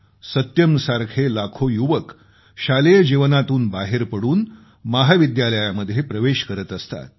सत्यमसारखे लाखो युवक शालेय जीवनातून बाहेर पडून महाविद्यालयामध्ये प्रवेश करत असतात